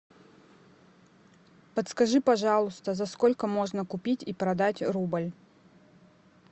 подскажи пожалуйста за сколько можно купить и продать рубль